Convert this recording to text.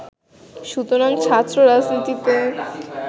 সুতরাং ছাত্র রাজনীতিতে